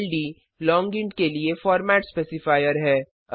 ld long int के लिए format specifier है